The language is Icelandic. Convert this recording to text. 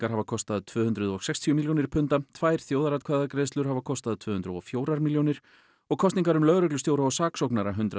hafa kostað tvö hundruð og sextíu milljónir punda tvær þjóðaratkvæðagreiðslur hafa kostað tvö hundruð og fjórar milljónir og kosningar um lögreglustjóra og saksóknara hundrað